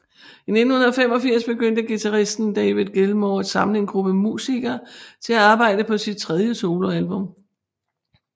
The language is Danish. I 1985 begyndte guitaristen David Gilmour at samle en gruppe musikere til at arbejde på sit tredje soloalbum